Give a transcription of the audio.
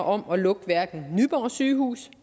om at lukke hverken nyborg sygehus